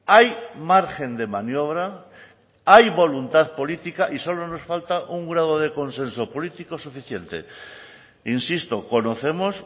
hay margen de maniobra hay voluntad política y solo nos falta un grado de consenso político suficiente insisto conocemos